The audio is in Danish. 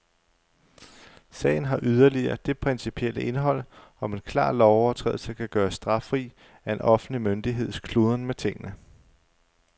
Sagen har yderligere det principielle indhold, om en klar lovovertrædelse kan gøres straffri af en offentlig myndigheds kludren med tingene.